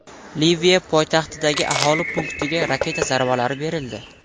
Liviya poytaxtidagi aholi punktiga raketa zarbalari berildi.